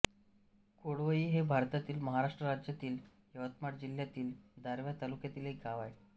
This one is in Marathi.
कोळवई हे भारतातील महाराष्ट्र राज्यातील यवतमाळ जिल्ह्यातील दारव्हा तालुक्यातील एक गाव आहे